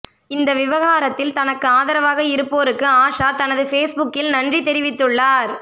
இந்த விவகாரத்தில் தனக்கு ஆதரவாக இருப்போருக்கு ஆஷா தனது பேஸ்புக்கில் நன்றி தெரிவித்துள்ளார்